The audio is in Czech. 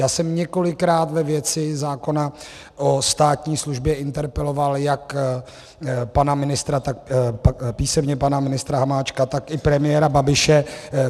Já jsem několikrát ve věci zákona o státní službě interpeloval jak písemně pana ministra Hamáčka, tak i premiéra Babiše.